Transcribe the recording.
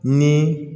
Ni